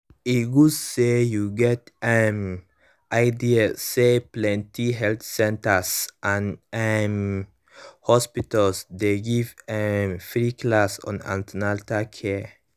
e good say you get um ideas say plenty health centers and um hospitals dey give um free class on an ten atal care